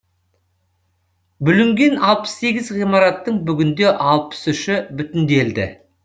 бүлінген алпыс сегіз ғимараттың бүгінде алпыс үші бүтінделді